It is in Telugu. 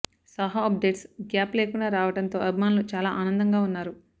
సాహో అప్డేట్స్ గ్యాప్ లేకుండా రావడం తో అభిమానుల చాలా ఆనందంగా వున్నారు